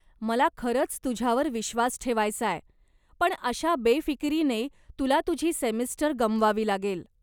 मला खरंच तुझ्यावर विश्वास ठेवायचाय, पण अशा बेफिकिरीनं तुला तुझी सेमिस्टर गमवावी लागेल.